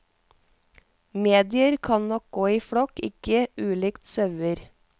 Medier kan nok gå i flokk, ikke ulikt sauer.